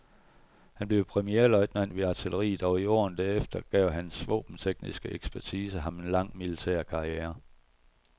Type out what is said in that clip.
Han blev premierløjtnant ved artilleriet, og i årene derefter gav hans våbentekniske ekspertise ham en lang, militær karriere.